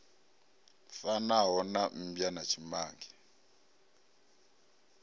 fanaho na mmbwa na tshimange